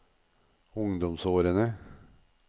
ungdomsårene